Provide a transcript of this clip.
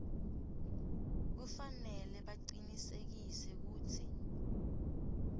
kufanele bacinisekise kutsi